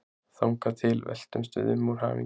Þangað til veltumst við um úr hamingju.